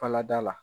Falada la